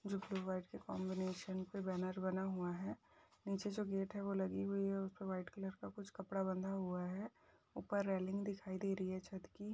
जो कि वाइट के कॉम्बिनेशन पे बैनर बना हुआ है। नीचे जो गेट है वो लगी हुई है और उसपे वाइट कलर का कपड़ा बंधा हुआ है। ऊपर रेलिंग दिखाई दे रही है छत की।